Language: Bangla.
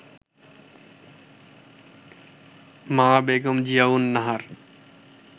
মা বেগম জিয়াউন নাহার